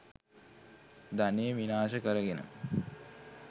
ධනය විනාශ කරගෙන